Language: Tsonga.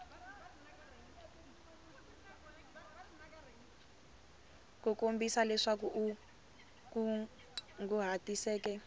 ku kombisa leswi u kunguhatiseke